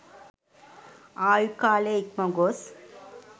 ආයු කාලය ඉක්ම ගොස්